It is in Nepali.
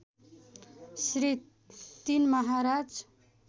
श्री ३ महाराज